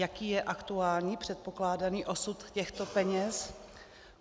Jaký je aktuální předpokládaný osud těchto peněz?